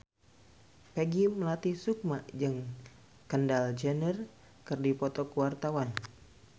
Peggy Melati Sukma jeung Kendall Jenner keur dipoto ku wartawan